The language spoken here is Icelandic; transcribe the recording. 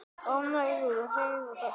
Ánægður að heyra þetta.